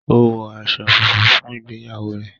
o wọ aṣọ fúnfún fún ìgbéyàwó rẹ